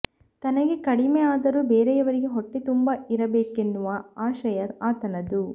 ತನಗೆ ಕಡಿಮೆ ಆದರೂ ಬೇರೆಯವರಿಗೆ ಹೊಟ್ಟೆ ತುಂಬಾ ಇರಬೇಕನ್ನುವ ಆಶಯ ಆತನದು